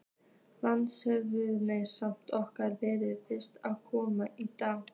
LANDSHÖFÐINGI: Samskipti okkar verða fyrst að komast í lag.